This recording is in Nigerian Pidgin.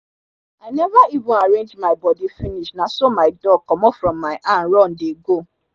i neva even arrange my bodi finish naso mi dog comot from mi hand run dey go